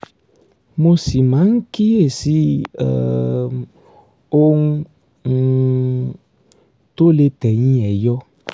mo sì máa ń kíyèsí um ohun um tó lè tẹ̀yìn ẹ̀ yọ